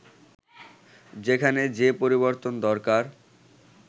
যেখানে যে পরিবর্তন দরকার